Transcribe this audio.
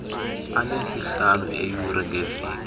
anesihlanu eeyure ngeveki